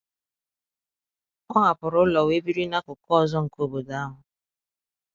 Ọ hapụrụ ụlọ wee biri n’akụkụ ọzọ nke obodo ahụ.